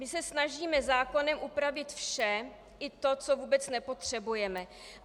My se snažíme zákonem upravit vše, i to, co vůbec nepotřebujeme.